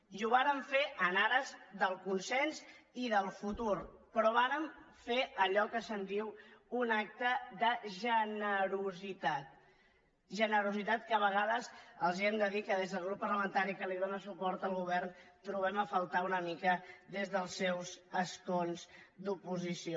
i ho vàrem fer en ares del consens i del futur però vàrem fer allò que se’n diu un acte de generositatgenerositat que a vegades els hem de dir que des del grup parlamentari que dóna suport al govern trobem a faltar una mica des dels seus escons d’oposició